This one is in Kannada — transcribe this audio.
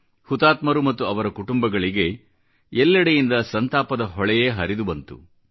ಹುತಾತ್ಮರು ಮತ್ತು ಅವರ ಕುಟುಂಬಗಳಿಗೆ ಎಲ್ಲೆಡೆಯಿಂದ ಸಂತಾಪ ಹೊಳೆಯೇ ಹರಿದು ಬಂತು